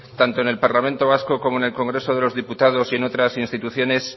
tanto en el parlamento vasco como en los congreso de los diputados y en otras instituciones